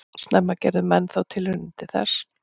Snemma gerðu menn þó tilraunir til þess.